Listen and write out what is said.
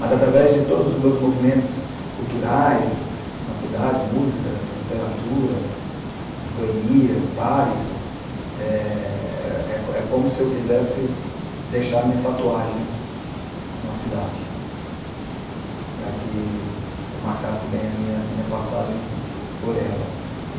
Mas, através de todos os meus movimentos culturais na cidade, música, literatura, boemia, bares, é é é como se eu quisesse deixar a minha tatuagem na cidade, para que eu marcasse bem a minha minha passagem por ela.